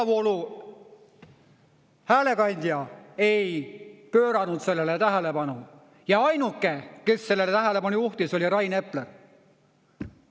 – peavoolu häälekandja ei pööranud sellele tähelepanu ja ainuke, kes sellele tähelepanu juhtis, oli Rain Epler.